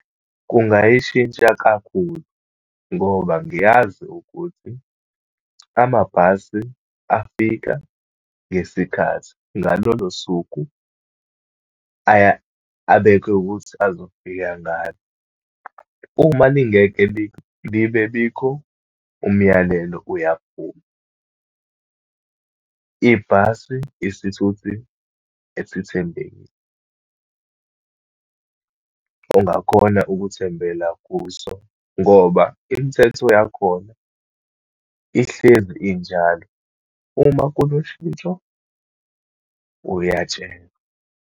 Kungayishintsha kakhulu, ngoba ngiyazi ukuthi amabhasi afika ngesikhathi, ngalolosuku abekwe ukuthi azofika ngalo. Uma lingeke libe bikho, umyalelo uyaphuma. Ibhasi isithuthi esithembekile. Ungakhona ukuthembela kuso, ngoba imithetho yakhona ihlezi injalo. Uma kunoshintsho, uyatshelwa.